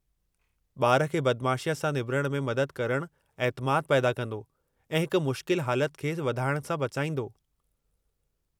ॿार खे बदमाशीअ सां निबिरण में मदद करणु ऐतिमादु पैदा कंदो ऐं हिक मुश्किल हालत खे वधाइणु सां बचाईंदो।